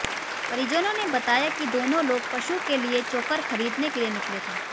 परिजनों ने बताया कि दोनों लोग पशु के लिए चोकर खरीदने के लिए निकले थे